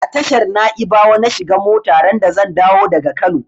A tashar naibawa na shiga mota randa zan dawo daga Kano.